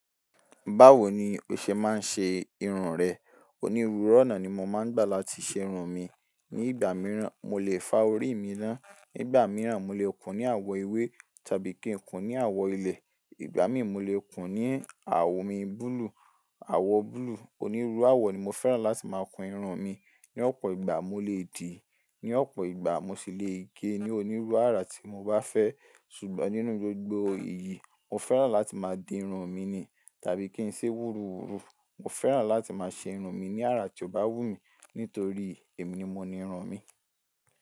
Báwo ni o ṣe máa ń ṣe irun rẹ? Onírúurú ọ̀nà ni mo máa ń gbà láti ṣe irun mi. Ní ìgbà mìíràn, mo lè fa orí mi ná, nígbà mìíràn, mo lè kún ní àwọ̀ ewé tàbí kí n kún ní àwọ̀ ilẹ̀. Ìgbà míì mo lè kún ní àwo mi búlúù, àwọ̀ búlúù. Onírúurú àwọ̀ ni mo fẹ́ràn láti máa kun irun mi. Ní ọ̀pọ̀ ìgbà, mo lè dì í, ní ọ̀pọ̀ ìgbà mo sì lè gé e ní onírúurú àrà tí mo bá fẹ́. Ṣùgbọ́n nínú gbogbo èyí, mo fẹ́ràn láti máa di irun mi ni tàbí kí n ṣe wúruwùru. Mo fẹ́ràn láti máa ṣe irun mi ní àrà tí ó bá wù mí nítorí èmi ni mo ni irun mi.